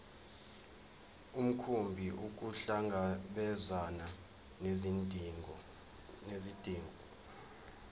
mkhumbi ukuhlangabezana nezidingo